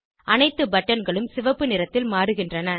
அனைத்து பட்டன்களும் சிவப்பு நிறத்தில் மாறுகின்றன